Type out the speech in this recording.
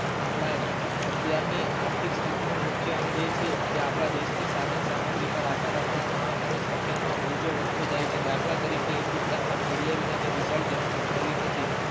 આપડા અત્યાર ની આર્થિક સ્થતિ નું મુખ્ય અંગ એ છે કે આપડા દેશ ની સાધન સામગ્રી પર આધાર રાખનાર માણસો ની સંખ્યા નો બોજો વધતો જાય છે દાખલા તરીકે હિન્દુસ્તાન માં ખેડિયા વિનાની ની વિશાળ જમીનો પડેલી નથી.